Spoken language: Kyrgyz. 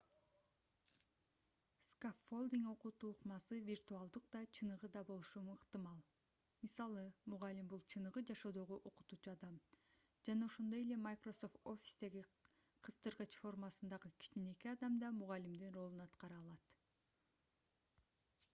скаффолдинг окутуу ыкмасы виртуалдык да чыныгы да болушу ыктымал. мисалы мугалим — бул чыныгы жашоодогу окутуучу адам жана ошондой эле microsoft office'теги кыстыргыч формасындагы кичинекей адам да мугалимдин ролун аткара алат